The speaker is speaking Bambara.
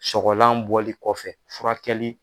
Sɔgɔgɔlan bɔli kɔfɛ furakɛli